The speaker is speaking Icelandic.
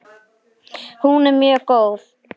Hún er mjög góð.